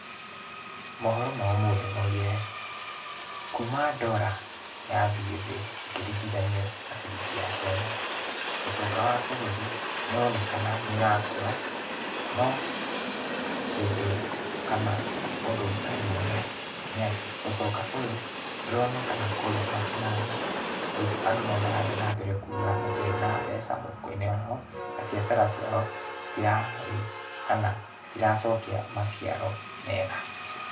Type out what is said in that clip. Mohoro ma ũmũthĩ maugire, kuma dola yathiĩ thĩ ĩkĩringithanio na ciringi ya Kenya, ũtonga wa bũrũri nĩũronekana nĩũrakũra, no kĩndũ kana ũndũ ũtarĩ mwega nĩatĩ, ũtonga ũyũ ndũronekana kũrĩa macinani, tondũ andũ no marathiĩ nambere kuga matirĩ na mbeca mũhuko-inĩ wao, na biacara ciao citirarĩ kana citiracokia maciaro mega.